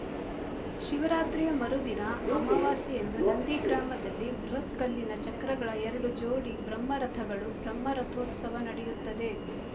ಶಿವರಾತ್ರಿ ಮರುದಿನ ಅಮಾವಾಸೆ ಯಂದು ನಂದಿ ಗ್ರಾಮದಲ್ಲಿ ಬೃಹತ್ ಕಲ್ಲಿನ ಚಕ್ರಗಳ ಎರಡು ಜೋಡಿ ಬ್ರಹ್ಮ ರಥಗಳು ಬ್ರಹ್ಮ ರಥೋತ್ಸವ ನಡೆಯುತ್ತದೆ